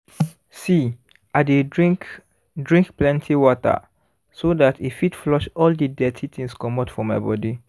see i dey drink drink plenty waterso that e fit flush all the dirty things comot for my body